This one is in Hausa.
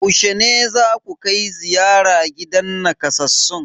Yaushe ne zaku kai ziyara gidan nakasassun?